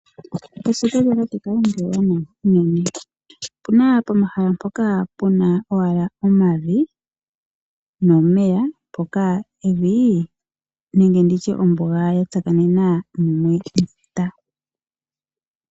Eshito lyatate Kalunga ewanawa, opuna pomahala mpoka Puna owala omavi nomeya mpoka evii nenge nditye ombuga yatsakanena mumwe nefuta.